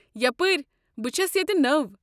یپٲرۍ، بہٕ چھس ییٚتہِ نٔو۔